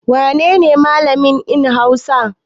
Wane ne Mallam in Hausa?